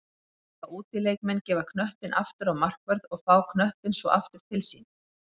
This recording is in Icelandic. Mega útileikmenn gefa knöttinn aftur á markvörð og fá knöttinn svo aftur til sín?